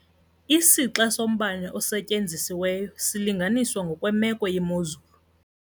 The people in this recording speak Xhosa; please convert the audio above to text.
Isixa sombane osetyenzisiweyo silinganiswa ngokwemeko yemozulu.